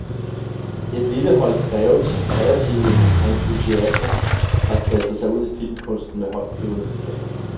Et lille hold kreative entusiaster har kastet sig ud i filmkunsten med højtflyvende planer.